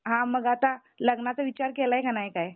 हा मग आता लग्नाचा विचार केलाय का नाही काही?